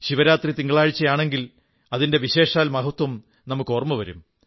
ശിവരാത്രി തിങ്കളാഴ്ചയാണെങ്കിൽ അതിന്റെ വിശേഷാൽ മഹത്വം നമുക്കോർമ്മ വരും